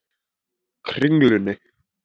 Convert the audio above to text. Kringlunni